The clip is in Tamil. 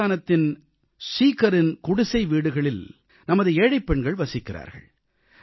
ராஜஸ்தானத்தின் சீகரின் குடிசை வீடுகளில் நமது ஏழைப் பெண்கள் வசிக்கிறார்கள்